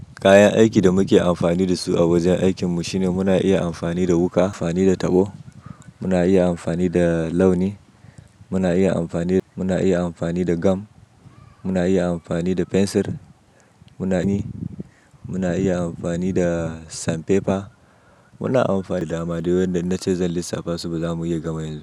Kayan aikin da muke amfani da su a wajen aikin mu shine muna iya amfani da wuƙa, amfani da taɓo, muna iya amfani da launi, muna iya amfani, muna iya amfani da gam, muna iya amfani da fensir, munani, muna iya amfani da sanfefa. Muna amfani da dama wanda na ce zan lissafa su ba za mu iya gamawa ba.